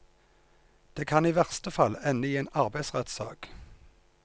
Det kan i verste fall ende i en arbeidsrettsak.